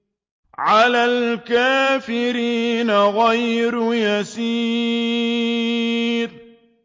عَلَى الْكَافِرِينَ غَيْرُ يَسِيرٍ